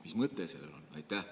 Mis mõte sellel on?